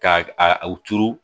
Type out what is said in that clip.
Ka a u turu